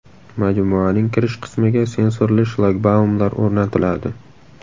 Majmuaning kirish qismiga sensorli shlagbaumlar o‘rnatiladi.